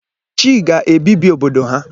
Chi ga-ebibi obodo ha.